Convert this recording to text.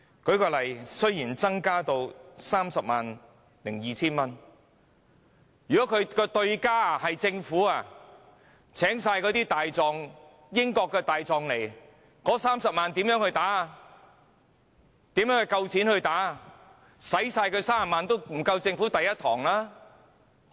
舉例來說，雖然限額已增加至 302,000 元，但若訴訟對手是政府，而政府全聘用英國大狀，那麼，這30萬元的金額，如何足夠負擔訟費？